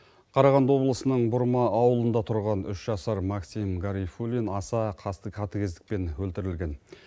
қарағанды облысының бұрма ауылында тұрған үш жасар максим гарифулин аса қасты қатыкездікпен өлтірілген